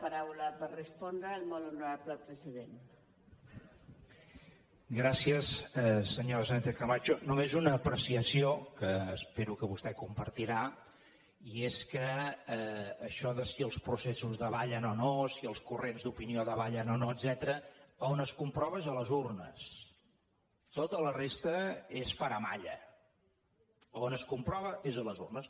senyora sánchez camacho només una apreciació que espero que vostè compartirà i és que això de si els processos davallen o no si els corrents d’opinió davallen o no etcètera on es comprova és a les urnes tota la resta és faramalla on es comprova és a les urnes